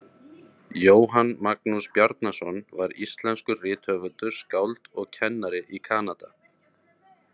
Jóhann Magnús Bjarnason var íslenskur rithöfundur, skáld og kennari í Kanada.